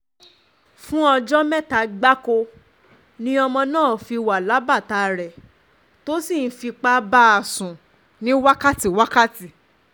fún ọjọ́ mẹ́ta gbáko ni ọmọ náà um fi wà lábàtà rẹ̀ tó sì ń fipá bá a sùn ní wákàtí-wákàtí um